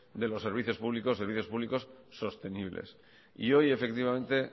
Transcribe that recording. de los servicios públicos servicios públicos sostenibles y hoy efectivamente